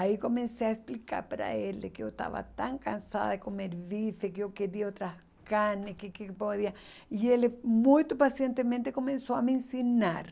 Aí comecei a explicar para ele que eu estava tão cansada de comer bife, que eu queria outras carnes, que que podia... E ele muito pacientemente começou a me ensinar.